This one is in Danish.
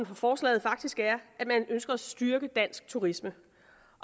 for forslaget faktisk er at man ønsker at styrke dansk turisme